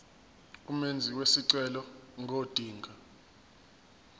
umenzi wesicelo ngodinga